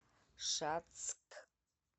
шацк